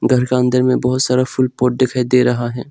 घर का अंदर में बहुत सारा फूल पॉट दिखाई दे रहा है।